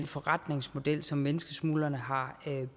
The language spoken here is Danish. forretningsmodel som menneskesmuglerne har